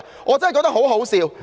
我真的覺得很可笑。